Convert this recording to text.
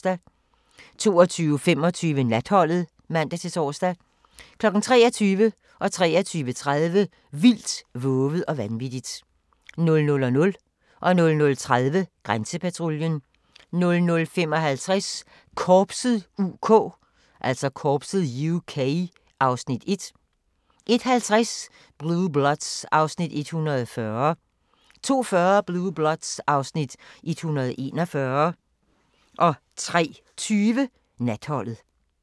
22:25: Natholdet (man-tor) 23:00: Vildt, vovet og vanvittigt 23:30: Vildt, vovet og vanvittigt 00:00: Grænsepatruljen 00:30: Grænsepatruljen 00:55: Korpset (UK) (Afs. 1) 01:50: Blue Bloods (Afs. 140) 02:40: Blue Bloods (Afs. 141) 03:20: Natholdet